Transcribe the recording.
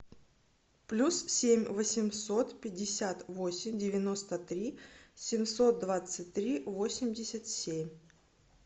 плюс семь восемьсот пятьдесят восемь девяносто три семьсот двадцать три восемьдесят семь